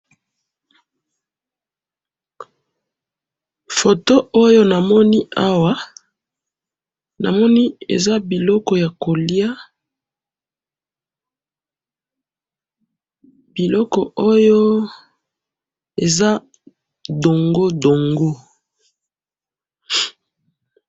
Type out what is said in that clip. photo oyo namoni awa namoni eza biloko ya kolya biloko oya eza ndongo ndongo